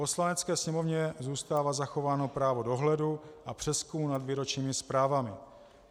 Poslanecké sněmovně zůstává zachováno právo dohledu a přezkum nad výročními zprávami.